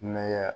Ne ya